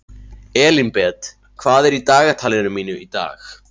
Elínbet, hvað er í dagatalinu mínu í dag?